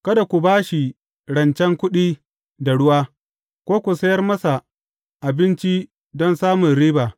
Kada ku ba shi rancen kuɗi da ruwa, ko ku sayar masa abinci don samun riba.